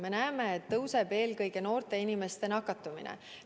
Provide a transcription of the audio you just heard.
Me näeme, et kasvab eelkõige noorte inimeste nakatumine.